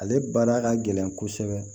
Ale baara ka gɛlɛn kosɛbɛ